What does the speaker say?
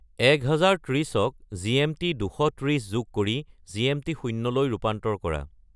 এক হাজাৰ ত্ৰিশক জি.এম.টি. দুশ ত্ৰিশ যোগ কৰি জি.এম.টি. শূন্যলৈ ৰূপান্তৰ কৰা